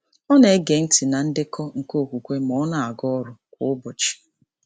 Ọ na-ege ntị na ndekọ nke okwukwe ma ọ na-aga ọrụ kwa ụbọchị.